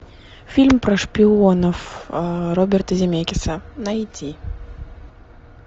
фильм про шпионов роберта земекиса найти